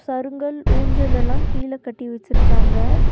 சருங்கள் ஊஞ்சல் எல்லா கீழ கட்டி வெச்சிருக்காங்க.